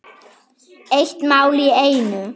Eitt mál í einu.